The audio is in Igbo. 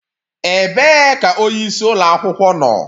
Ebee ka onye isi ụlọ akwụkwọ nọ?